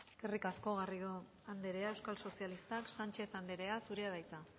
eskerrik asko garrido andrea euskal sozialistak sánchez andrea zurea da hitza